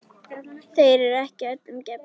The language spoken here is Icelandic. Þeir eru ekki öllum gefnir.